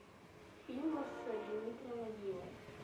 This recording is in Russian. фильмы с дмитрием нагиевым